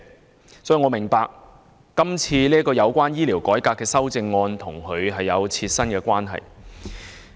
我當然明白今次這項有關"推動醫療改革"的修正案與其本人有切身關係。